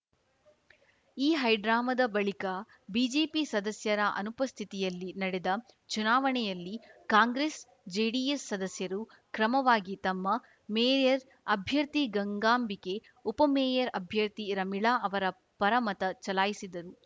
ಈ ಹೈಡ್ರಾಮಾದ ಬಳಿಕ ಬಿಜೆಪಿ ಸದಸ್ಯರ ಅನುಪಸ್ಥಿತಿಯಲ್ಲಿ ನಡೆದ ಚುನಾವಣೆಯಲ್ಲಿ ಕಾಂಗ್ರೆಸ್‌ ಜೆಡಿಎಸ್‌ ಸದಸ್ಯರು ಕ್ರಮವಾಗಿ ತಮ್ಮ ಮೇಯರ್‌ ಅಭ್ಯರ್ಥಿ ಗಂಗಾಂಬಿಕೆ ಉಪಮೇಯರ್‌ ಅಭ್ಯರ್ಥಿ ರಮೀಳಾ ಅವರ ಪರ ಮತ ಚಲಾಯಿಸಿದರು